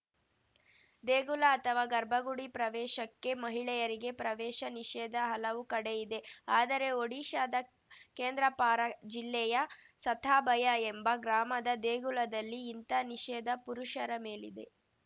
ದೇಗುಲ ಅಥವಾ ಗರ್ಭಗುಡಿ ಪ್ರವೇಶಕ್ಕೆ ಮಹಿಳೆಯರಿಗೆ ಪ್ರವೇಶ ನಿಷೇಧ ಹಲವು ಕಡೆ ಇದೆ ಆದರೆ ಒಡಿಶಾದ ಕೇಂದ್ರಪಾರಾ ಜಿಲ್ಲೆಯ ಸತಾಭಯ ಎಂಬ ಗ್ರಾಮದ ದೇಗುಲದಲ್ಲಿ ಇಂಥ ನಿಷೇಧ ಪುರುಷರ ಮೇಲಿದೆ